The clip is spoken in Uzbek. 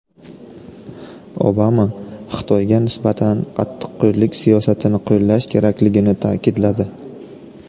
Obama Xitoyga nisbatan qattiqqo‘llik siyosatini qo‘llash kerakligini ta’kidladi.